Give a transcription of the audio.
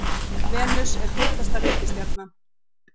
Venus er heitasta reikistjarnan.